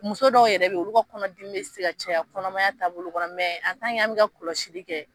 Muso dɔw yɛrɛ be yen, olu ka kɔnɔ dimi be se ka caya kɔnɔmaya taabolo kɔnɔ an bi ka kɔlɔsili kɛ